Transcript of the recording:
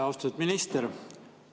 Austatud minister!